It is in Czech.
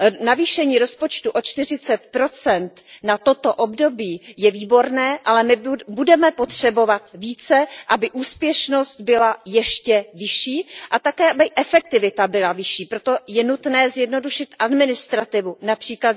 Navýšení rozpočtu o 40 na toto období je výborné, ale budeme potřebovat více, aby úspěšnost byla ještě vyšší a také, aby efektivita byla vyšší, proto je nutné zjednodušit administrativu, např.